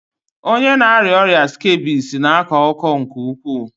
Onye na-arịa ọrịa skebisi na-akọ ọkụ nke ukwuu.